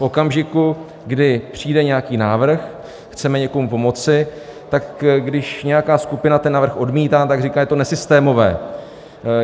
V okamžiku, kdy přijde nějaký návrh, chceme někomu pomoci, tak když nějaká skupina ten návrh odmítá, říká, že je to nesystémové.